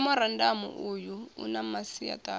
memorandamu uyu u na masiaṱari